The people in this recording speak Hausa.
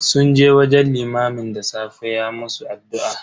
Sun je wajen limamin da safe ya musu addu'a.